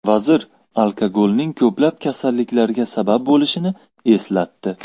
Vazir alkogolning ko‘plab kasalliklarga sabab bo‘lishini eslatdi.